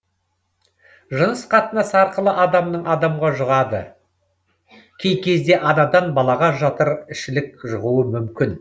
жыныс қатынас арқылы адамнан адамға жұғады кей кезде анадан балаға жатыр ішілік жұғуы мүмкін